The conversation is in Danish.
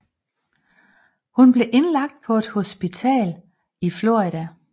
Hun blev indlagt på et hospital i Florida